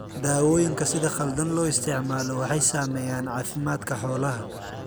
Daawooyinka sida khaldan loo isticmaalo waxay saameeyaan caafimaadka xoolaha.